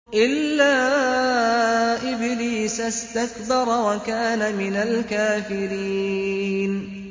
إِلَّا إِبْلِيسَ اسْتَكْبَرَ وَكَانَ مِنَ الْكَافِرِينَ